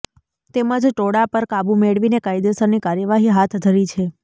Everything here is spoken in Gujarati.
તેમજ ટોળા પર કાબૂ મેળવીને કાયદેસરની કાર્યવાહી હાથ ધરી છે